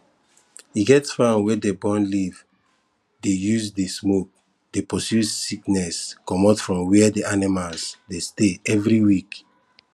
e get farm wey dey burn leave dey use the smoke dey pursue sickness comot for where the animals dey stay every week